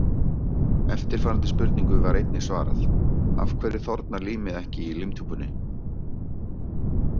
Eftirfarandi spurningu var einnig svarað: Af hverju þornar límið ekki í límtúpunni?